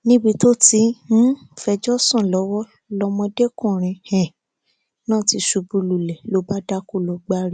níbi tó ti um ń fẹjọ sùn lọwọ lọmọdékùnrin um náà ti ṣubú lulẹ ló bá dákú lọ gbári